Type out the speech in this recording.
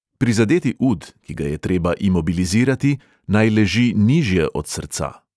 Prizadeti ud, ki ga je treba imobilizirati, naj leži nižje od srca.